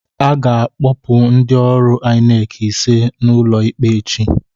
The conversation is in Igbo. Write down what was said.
A ga-akpọpụ ndị ọrụ INEC ise n'ụlọ ikpe echi